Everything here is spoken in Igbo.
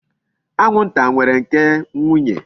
Anwụnta nwere nke nwunye.